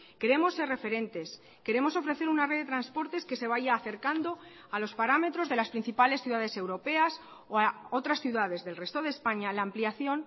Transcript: queremos ser referentes queremos ofrecer una red de transportes que se vaya acercando a los parámetros de las principales ciudades europeas o a otras ciudades del resto de españa la ampliación